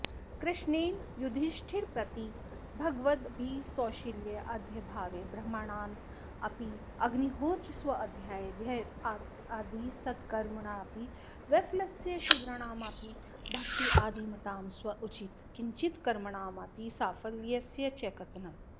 कृष्णेन युधिष्ठिरंप्रति भकगवद्भक्तिसौशील्याद्यभावे ब्राह्मणानामपि अग्निहोत्रस्वाध्यायाध्ययनादिसत्कर्मणामपि वैफल्यस्य शूद्राणामपि भक्त्यादिमतां स्वोचितकिंचित्कर्मणामपि साफल्यस्य च कथनम्